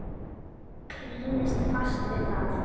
Klínist fast við það.